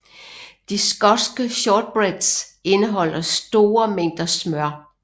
De skotske shortbreads indeholder store mængder smør